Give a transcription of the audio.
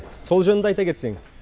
сол жөнінде айта кетсең